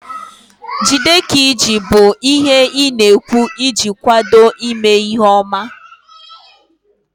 Jide ka iji bụ ihe ị na-ekwu iji kwado ime ihe ọma